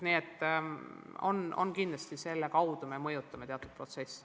Nii et jah, selle kaudu me mõjutame teatud protsesse.